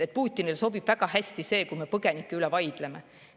Putinile sobib väga hästi see, kui me põgenike üle vaidleme.